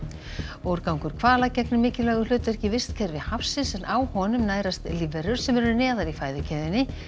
úrgangur hvala gegnir mikilvægu hlutverki í vistkerfi hafsins en á honum nærast lífverur sem eru neðar í fæðukeðjunni